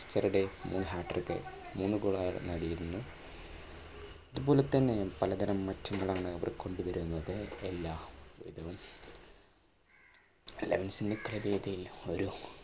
yesterday മൂന്ന് hatrik മൂന്നു goal അയാൾ നേടിയിരുന്നു. ഇതുപോലെതന്നെ പലതരം മാറ്റങ്ങളാണ് ഇവർ കൊണ്ടുവരുന്നത് എല്ലാം